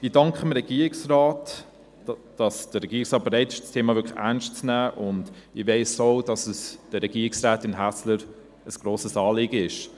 Ich danke dem Regierungsrat, dass er bereit ist, dieses Thema wirklich ernst zu nehmen, und ich weiss auch, dass es Regierungsrätin Häsler ein grosses Anliegen ist.